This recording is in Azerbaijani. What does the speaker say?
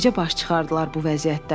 Necə baş çıxardılar bu vəziyyətdən?